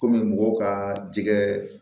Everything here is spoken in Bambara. Kɔmi mɔgɔw ka jɛgɛ